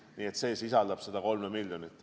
Nii et seda kõike sisaldab see 3 miljonit.